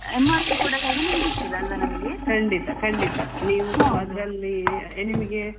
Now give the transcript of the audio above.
ಸ್ವಲ್ಪ MRP ಗಿಂತ ಕೂಡ ಕಡಿಮೆಗೇ ಸಿಕ್ತದೆ ಅಲ್ಲ ನಮಿಗೆ.